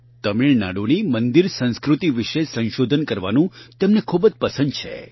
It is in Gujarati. તમિળનાડુની મંદિર સંસ્કૃતિ વિશે સંશોધન કરવાનું તેમને ખૂબ જ પસંદ છે